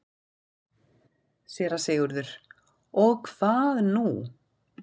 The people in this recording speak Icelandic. SÉRA SIGURÐUR: Og hvað nú?